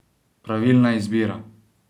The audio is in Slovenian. Pravilna izbira!